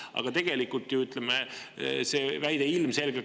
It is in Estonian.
Aga tegelikult on see väide ilmselgelt ekslik.